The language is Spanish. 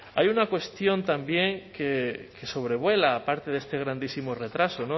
hay una cuestión también que sobrevuela parte de este grandísimo retraso